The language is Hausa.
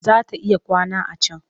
Za ta iya kwana a can